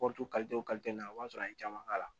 Kɔ to na o y'a sɔrɔ an ye caman k'a la